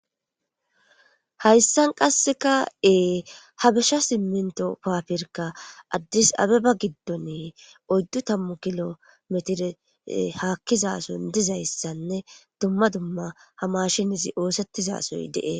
Haysan qasseka ha bisa siminto pabirka adis abeba gidon oydu tamu kilo metire hakotethi hakizason dizaysan dumma dumma ha mashinezi osetiza de'es